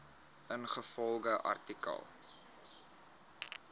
ingevolge artikel